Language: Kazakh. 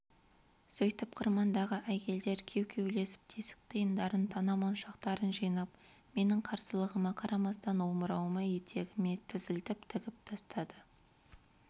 сөйтіп қырмандағы әйелдер кеу-кеулесіп тесік тиындарын тана-моншақтарын жинап менің қарсылығыма қарамастан омырауыма етегіме тізілтіп тігіп тастады